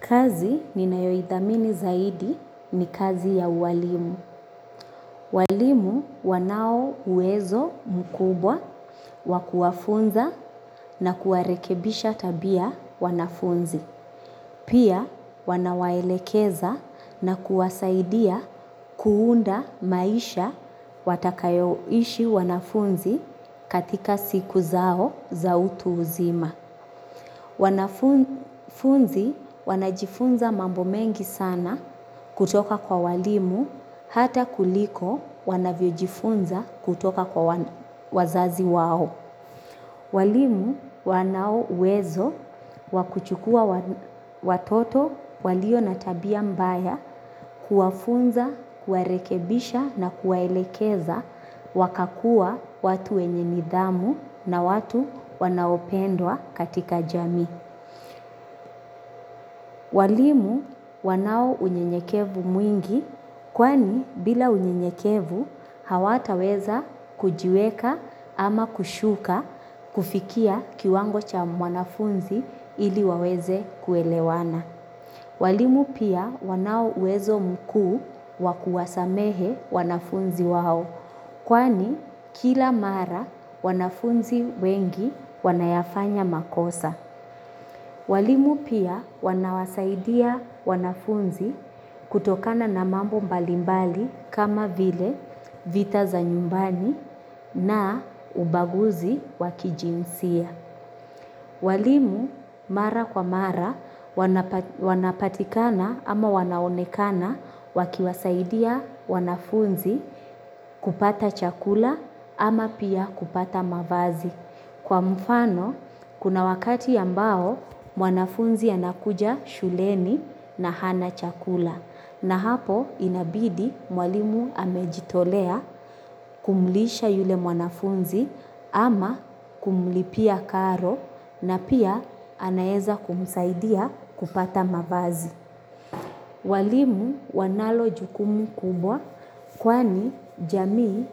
Kazi ni nayoidhamini zaidi ni kazi ya uwalimu. Walimu wanao uwezo mkubwa wa kuwafunza na kuwarekebisha tabia wanafunzi. Pia wanawaelekeza na kuwasaidia kuunda maisha watakayoishi wanafunzi katika siku zao za utu uzima. Wanafunzi wanajifunza mambo mengi sana kutoka kwa walimu hata kuliko wanavyojifunza kutoka kwa wazazi wao. Walimu wanao uwezo wa kuchukua watoto walio na tabia mbaya kuwafunza, kuwarekebisha na kuwaelekeza wakakua watu wenye nidhamu na watu wanaopendwa katika jamii. Walimu wanao unyenyekevu mwingi kwani bila unyenyekevu hawataweza kujiweka ama kushuka kufikia kiwango cha mwanafunzi ili waweze kuelewana. Walimu pia wanao uwezo mkuu wa kuwasamehe wanafunzi wao kwani kila mara wanafunzi wengi wanayafanya makosa. Walimu pia wanawasaidia wanafunzi kutokana na mambo mbalimbali kama vile vita za nyumbani na ubaguzi wa kijinsia. Walimu mara kwa mara wanapatikana ama wanaonekana wakiwasaidia wanafunzi kupata chakula ama pia kupata mavazi. Kwa mfano, kuna wakati ambao mwanafunzi anakuja shuleni na hana chakula na hapo inabidi mwalimu amejitolea kumlisha yule mwanafunzi ama kumlipia karo na pia anaeza kumsaidia kupata mavazi. Walimu wanalo jukumu kubwa kwani jamii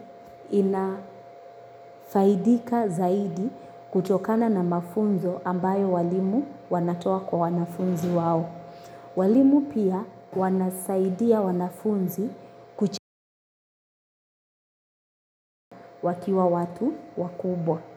inafaidika zaidi kutokana na mafunzo ambayo walimu wanatoa kwa wanafunzi wao. Walimu pia wanasaidia wanafunzi kuchewa kiwa watu wakubwa.